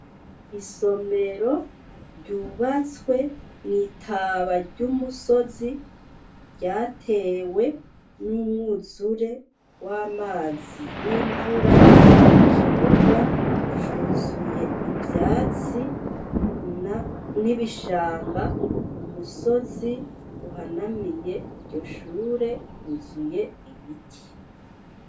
Isomero ryubatswe mw'itaba ry'umusozi ryatewe n'umwuzure w'amazi y'imvura ikibuga cuzuye ivyatsi n'ibishanga umusozi uhanamiye ryo shure uzuye ibiti.